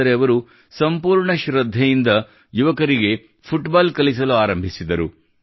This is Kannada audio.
ಆದರೆ ಅವರು ಸಂಪೂರ್ಣ ಶ್ರದ್ಧೆಯಿಂದ ಯುವಕರಿಗೆ ಫುಟ್ಬಾಲ್ ಕಲಿಸಲು ಆರಂಭಿಸಿದರು